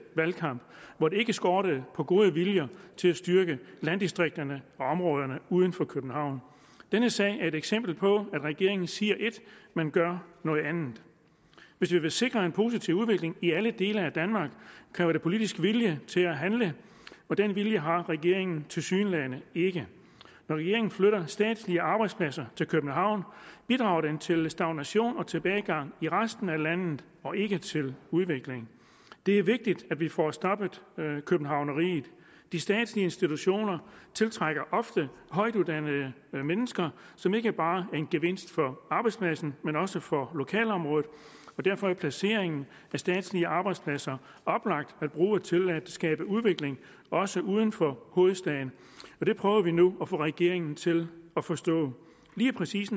valgkamp hvor det ikke skortede på den gode vilje til at styrke landdistrikterne og områderne uden for københavn denne sag er et eksempel på at regeringen siger ét men gør noget andet hvis vi vil sikre en positiv udvikling i alle dele af danmark kræver det politisk vilje til at handle og den vilje har regeringen tilsyneladende ikke når regeringen flytter statslige arbejdspladser til københavn bidrager den til stagnation og tilbagegang i resten af landet og ikke til udvikling det er vigtigt at vi får stoppet københavneriet de statslige institutioner tiltrækker ofte højtuddannede mennesker som ikke bare er en gevinst for arbejdspladsen men også for lokalområdet og derfor er placeringen af statslige arbejdspladser oplagt at bruge til at skabe udvikling også uden for hovedstaden og det prøver vi nu at få regeringen til at forstå lige præcis